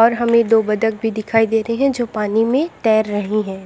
और हमें दो बदक भी दिखाई देते हैं जो की पानी में तैर रही हैं।